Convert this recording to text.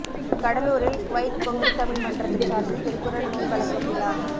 கடலூரில் குவைத் பொங்குதமிழ் மன்றத்தின் சார்பில் திருக்குறள் நூல் வழங்கும் விழா